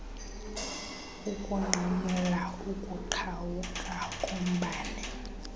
ukunqamla ukuqhawuka kombane